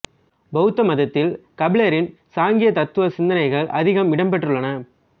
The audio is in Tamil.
பௌத்த மதத்தில் கபிலரின் சாங்கிய தத்துவ சிந்தனைகள் அதிகம் இடம்பெற்றுள்ளன